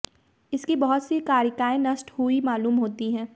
इसकी बहुत सी कारिकाएँ नष्ट हुई मालूम होती हैं